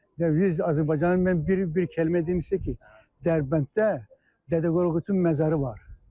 Və biz Azərbaycanın, mən bir kəlmə deyim sizə ki, Dərbənddə Dədə Qorqudun məzarı var.